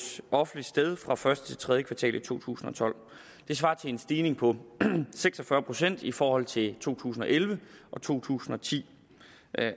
offentligt sted fra første til tredje kvartal i to tusind og tolv det svarer til en stigning på seks og fyrre procent i forhold til to tusind og elleve og to tusind og ti